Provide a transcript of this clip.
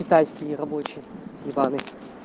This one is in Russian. китайский нерабочий ебаный